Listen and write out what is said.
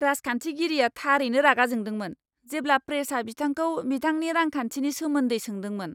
राजखानथिगिरिया थारैनो रागा जोंदोंमोन जेब्ला प्रेसआ बिथांखौ बिथांनि रांखान्थिनि सोमोन्दै सोंदोंमोन।